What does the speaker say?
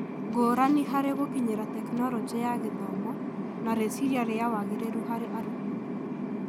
Ngũrani harĩ gũkinyĩra Tekinoronjĩ ya Gĩthomo, na rĩciria rĩa wagĩrĩru harĩ arutwo.